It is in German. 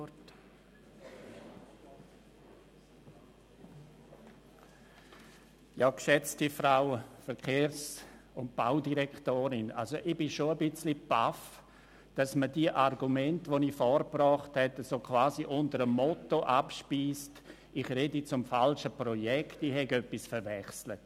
Geschätzte Frau Verkehrs- und Baudirektorin, ich bin schon ein bisschen perplex, dass man mich beziehungsweise die von mir vorgebrachten Argumente so quasi unter dem Motto abspeist, ich würde zum falschen Projekt reden und hätte etwas verwechselt.